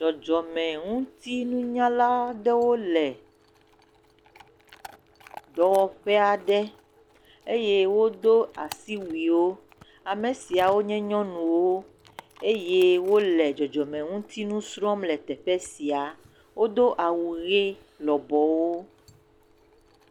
Dzɔdzɔme ŋutinunyala aɖewo le dɔwɔƒe aɖe eye wodo asiwuiwo, ame siawo nye nyɔnuwo eye wole dzɔdzɔme ŋutinu srɔ̃m le teƒe sia. Wodo awu ʋe lɔbɔwo.